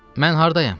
Mən hardayam?